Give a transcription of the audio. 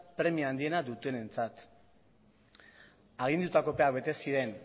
premia handienak dutenentzat agindutako epeak bete ziren